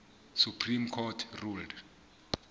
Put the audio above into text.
supreme court ruled